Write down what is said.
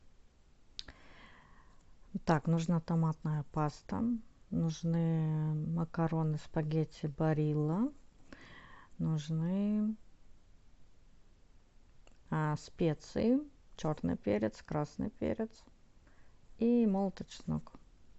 так нужна томатная паста нужны макароны спагетти барилла нужны специи черный перец красный перец и молотый чеснок